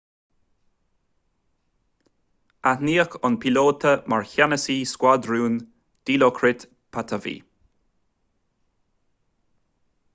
aithníodh an píolóta mar cheannasaí scuadrúin dilokrit pattavee